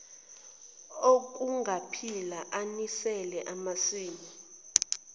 okungaphila anisela amasimu